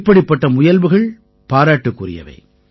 இப்படிப்பட்ட முயல்வுகள் பாராட்டுக்குரியவை